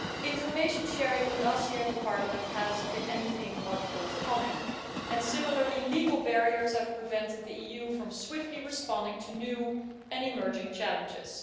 Information sharing with us here in Parliament has been anything but forthcoming and, similarly, legal barriers have prevented the EU from swiftly responding to new and emerging challenges.